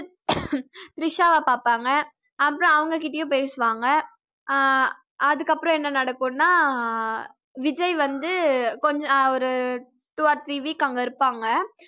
திரிஷாவ பார்ப்பாங்க அப்புறம் அவங்க கிட்டயும் பேசுவாங்க ஆஹ் அதுக்கப்புறம் என்ன நடக்கும்ன்னா ஆஹ் விஜய் வந்து கொஞ்சம் அஹ் ஒரு two or three week அங்க இருப்பாங்க